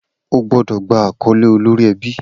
O gbọ́dọ̀ gba àkọ́lé olórí ẹbí.